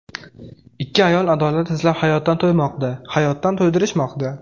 Ikki ayol adolat izlab hayotdan to‘ymoqda, hayotdan to‘ydirishmoqda.